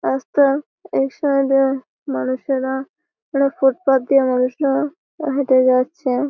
রাস্তার এক সাইড -এ মানুষেরা কোন ফুট পাথ দিয়ে মানুষরা হেঁটে যাচ্ছে।